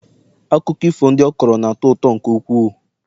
akụkọ ifo ndị ọ kọrọ na-atọ ụtọ nke ukwuu